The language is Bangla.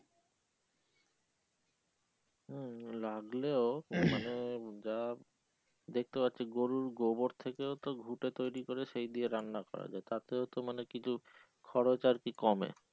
হম লাগলেও যা দেখতে পারছি গরুর গোবর থেকে অ ঘুটে তৈরি করে সে দিয়ে রান্না করা যায় তাতে ও তো মানে কিছু খরচ আর কি কমে।